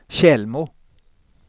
Tjällmo